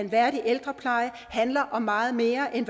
værdig ældrepleje handler om meget mere end